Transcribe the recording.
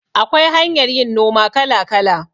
Akwai hanyar yin noma kala kala